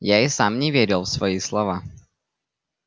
я и сам не верил в свои слова